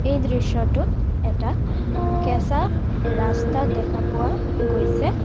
এই দৃশ্যটোত এটা কেঁচা ৰাস্তা দেখা পোৱা গৈছে।